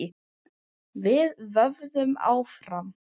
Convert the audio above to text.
Við vöðum áfram.